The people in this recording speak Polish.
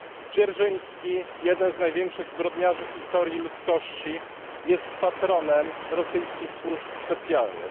Dzierżyński, jeden z największych zbrodniarzy w historii ludzkości, jest patronem rosyjskich służb specjalnych.